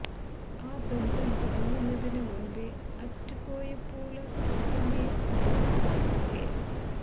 ആ ബന്ധം തുടങ്ങുന്നതിന് മുമ്പേ അറ്റുപോയപ്പോള് ഉടനെ വന്നു അടുത്ത പേര്